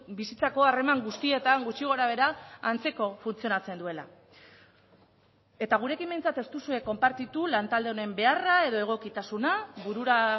bizitzako harreman guztietan gutxi gorabehera antzeko funtzionatzen duela eta gurekin behintzat ez duzue konpartitu lantalde honen beharra edo egokitasuna burura